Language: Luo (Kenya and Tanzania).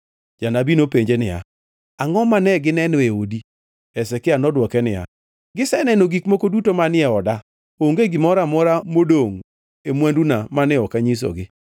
Janabi nopenjo niya, “Angʼo mane gineno e odi?” Hezekia nodwoke niya, “Giseneno gik moko duto manie oda. Onge gimoro amora modongʼ e mwanduna mane ok anyisogi.”